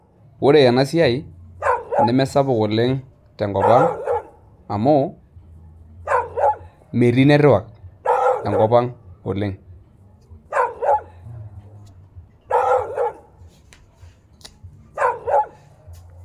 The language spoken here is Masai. Ore enasiai, nemesapuk oleng tenkop ang, amu metii netwak enkop ang oleng.